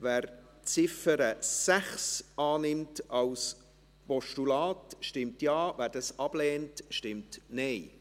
Wer die Ziffer 6 als Postulat annimmt, stimmt Ja, wer dies ablehnt, stimmt Nein.